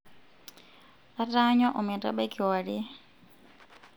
ataanyua ometabai kiwarie